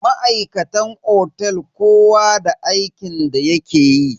Ma'aikatan otel kowa da aikin da yake yi.